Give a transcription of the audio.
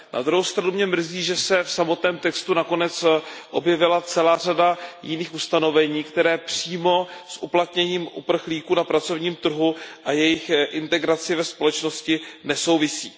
Na druhou stranu mě mrzí, že se v samotném textu nakonec objevila celá řada jiných ustanovení, která přímo s uplatněním uprchlíků na pracovním trhu a jejich integrací ve společnosti nesouvisí.